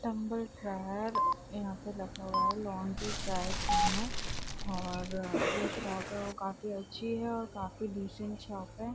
यहाँ पे रखा हुआ है लांड्री ड्राई क्लीनर और जो शॉप है वो काफी अच्छी है और काफी डिसेंट शॉप है।